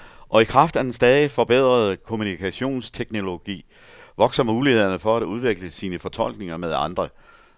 Og i kraft af den stadigt forbedrede kommunikationsteknologi vokser mulighederne for at udveksle sine fortolkninger med andre.